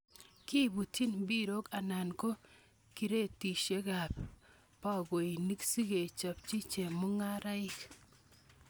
Kibutyin mbirok anan ko kiretisiekab bokoinik sikeipchi chemung'araik.